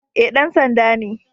Eh, dan sanda ne